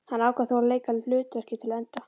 Hann ákvað þó að leika hlutverkið til enda.